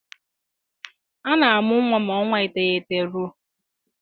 A na-amụ nwa ma ọnwa iteghete rue